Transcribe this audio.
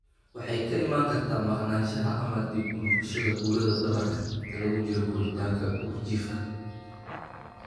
Waxay ka iman kartaa maqnaanshaha, ama dib u noqoshada, burada dhabarka inta lagu jiro koritaanka uurjiifka.